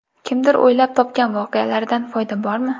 Kimdir o‘ylab topgan voqealaridan foyda bormi?.